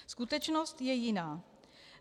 Skutečnost je jiná.